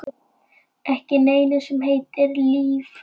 Ekki neinu sem heitir líf.